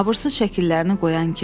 Abırsız şəkillərini qoyan kim.